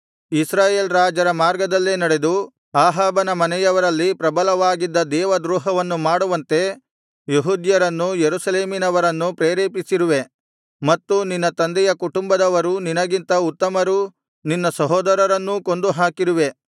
ಇಸ್ರಾಯೇಲ್ ರಾಜರ ಮಾರ್ಗದಲ್ಲೇ ನಡೆದು ಅಹಾಬನ ಮನೆಯವರಲ್ಲಿ ಪ್ರಬಲವಾಗಿದ್ದ ದೇವದ್ರೋಹವನ್ನು ಮಾಡುವಂತೆ ಯೆಹೂದ್ಯರನ್ನೂ ಯೆರೂಸಲೇಮಿನವರನ್ನೂ ಪ್ರೇರೇಪಿಸಿರುವೆ ಮತ್ತು ನಿನ್ನ ತಂದೆಯ ಕುಂಟುಂಬದವರೂ ನಿನಗಿಂತ ಉತ್ತಮರೂ ನಿನ್ನ ಸಹೋದರರನ್ನೂ ಕೊಂದು ಹಾಕಿರುವೆ